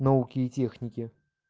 науки и техники